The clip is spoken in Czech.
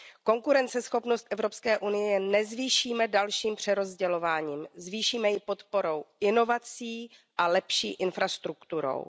Konkurenceschopnost Evropské unie nezvýšíme dalším přerozdělováním, zvýšíme ji podporou inovací a lepší infrastrukturou.